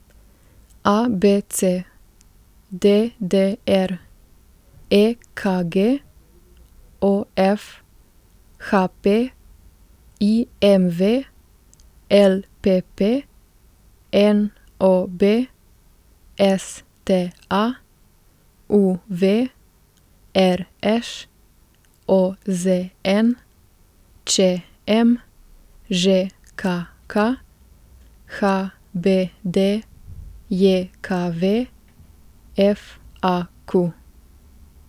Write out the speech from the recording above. A B C; D D R; E K G; O F; H P; I M V; L P P; N O B; S T A; U V; R Š; O Z N; Č M; Ž K K; H B D J K V; F A Q.